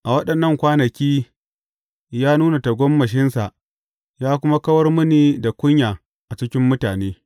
A waɗannan kwanaki ya nuna tagomashinsa ya kuma kawar mini da kunya a cikin mutane.